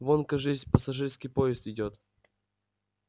вон кажись пассажирский поезд идёт